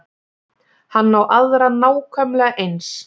Hann á aðra nákvæmlega eins.